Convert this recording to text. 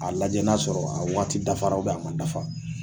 A lajɛ n'a sɔrɔ a waati dafara a ma dafa